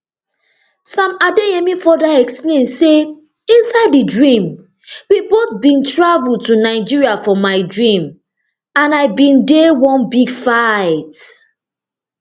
sam adeyemi further explain say inside di dream we both bin travel to nigeria for my dream and i bin dey one big fight